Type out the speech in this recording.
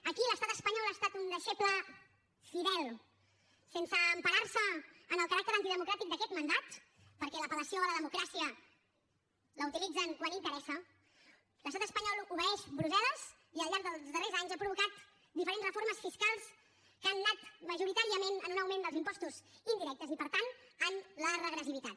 aquí l’estat espanyol ha estat un deixeble fidel sense emparar se en el caràcter antidemocràtic d’aquest mandat perquè l’apel·lació a la democràcia la utilitzen quan interessa l’estat espanyol obeeix brussel·les i al llarg dels darrers anys ha provocat diferents reformes fiscals que han anat majoritàriament en un augment dels impostos indirectes i per tant en la regressivitat